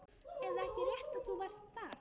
Er það ekki rétt að þú varst þar?